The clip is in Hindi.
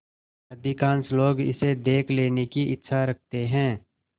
अधिकांश लोग इसे देख लेने की इच्छा रखते हैं